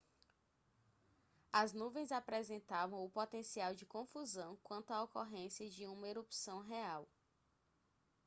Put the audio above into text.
as nuvens apresentavam o potencial de confusão quanto à ocorrência de uma erupção real